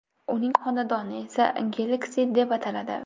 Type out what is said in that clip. Uning xonadoni esa Galaxy deb ataladi.